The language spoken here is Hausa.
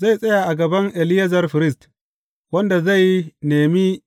Zai tsaya a gaban Eleyazar firist, wanda zai nemi